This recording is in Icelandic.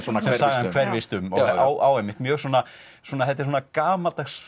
hverfist um og á einmitt mjög svona svona þetta er svona gamaldags